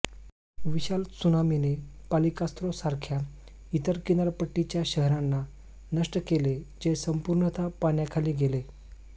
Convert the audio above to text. विशाल त्सुनामीने पलािकास्त्रोसारख्या इतर किनारपट्टीच्या शहरांना नष्ट केले जे संपूर्णतः पाण्याखाली गेले